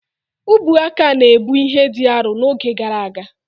Ubuaka na-ebu ibu dị arọ n'oge gara aga.